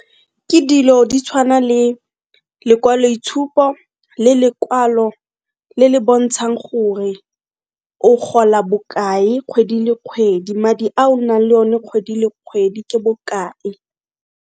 Ke dilo di tshwana le lekwaloitshupo le lekwalo le le bontshang gore o gola bokae kgwedi le kgwedi madi a o nang le o ne kgwedi le kgwedi ke bokae.